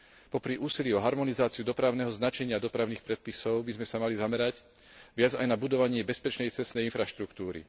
Popri úsilí o harmonizáciu dopravného značenia dopravných predpisov by sme sa mali viac zamerať aj na budovanie bezpečnej cestnej infraštruktúry.